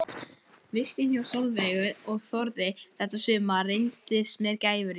Vistin hjá Sólveigu og Þórði þetta sumar reyndist mér gæfurík.